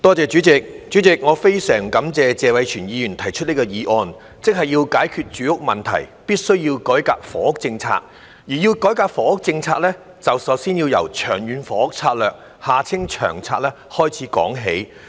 代理主席，我非常感謝謝偉銓議員提出這項議案，即要解決住屋問題，必須改革房屋政策，而要改革房屋政策，便首先要由《長遠房屋策略》開始說起。